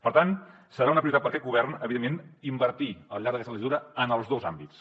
per tant serà una prioritat per a aquest govern evidentment invertir al llarg d’aquesta legislatura en els dos àmbits